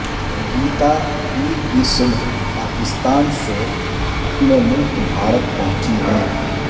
گیتا پیر کی صبح پاکستان سے اپنے ملک بھارت پہنچی ہیں